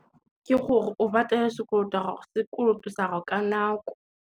Ke gore o patele sekoloto sa gao ka nako.